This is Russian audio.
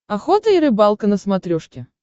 охота и рыбалка на смотрешке